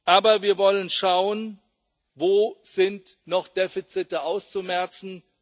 Aber wir wollen schauen Wo sind noch Defizite auszumerzen?